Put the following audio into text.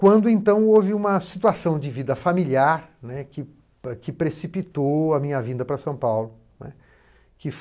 Quando, então, houve uma situação de vida familiar, né, que que precipitou a minha vinda para São Paulo, né. Que